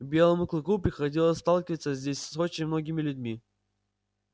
белому клыку приходилось сталкиваться здесь с очень многими людьми